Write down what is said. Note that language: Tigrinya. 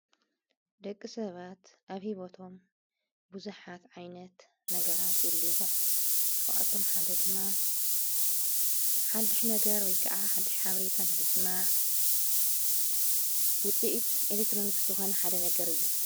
ደቂ ሰባት ኣብሂቦቶም ብዙኃት ዓይነት ነገራት የልዎ ካብኣቶም ሓደ ድማ ሓሽ ነገር ወይ ከዓ ሓሽ ኃብሪተን ምስ ማ ውፂእት ኤሌክጥሮንክ ዝኾነ ሓደ ነገር እዩ።